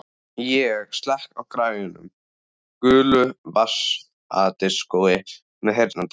Ég slekk á græjunum, gulu vasadiskói með heyrnartólum.